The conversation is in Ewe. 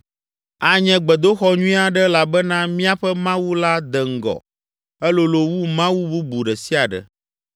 “Anye gbedoxɔ nyui aɖe elabena míaƒe Mawu la de ŋgɔ, elolo wu mawu bubu ɖe sia ɖe.